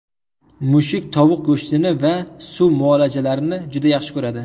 Mushuk tovuq go‘shtini va suv muolajalarini juda yaxshi ko‘radi.